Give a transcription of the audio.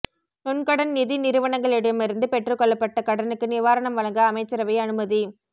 நுண்கடன் நிதி நிறுவனங்களிடமிருந்து பெற்றுக்கொள்ளப்பட்ட கடனுக்கு நிவாரணம் வழங்க அமைச்சரவை அனுமதி